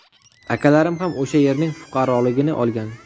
Akalarim ham o‘sha yerning fuqaroligini olgan.